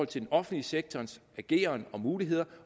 til den offentlige sektors ageren og muligheder